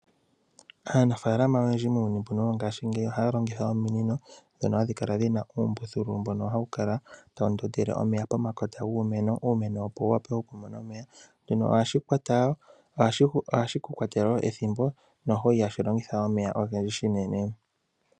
Aanafalama oyendji muuyuni wongashingeyi ohaa longitha ominino dhono hadhi kala dhina oombuthulu mbono hawu kala tawu tile omeya pekota lyiimeno iimeno opo yi wape oku mona omeya shino ihashi kwata wo ethimbo ishewe ihashi longitha omeya ogendji shinene.